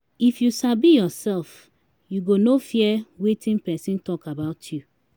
if yu sabi ursef yu go no fear wetin pesin tok about yu